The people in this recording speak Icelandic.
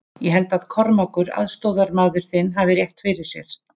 Ég held að Kormákur, aðstoðamaður þinn, hafi rétt fyrir sér.